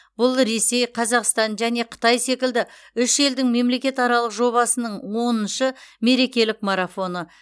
бұл ресей қазақстан және қытай секілді үш елдің мемлекетаралық жобасының оныншы мерекелік марафоны